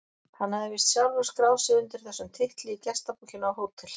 Hann hafði víst sjálfur skráð sig undir þessum titli í gestabókina á Hótel